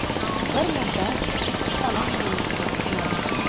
Bir muddat issiqxona qurilishida ishladim.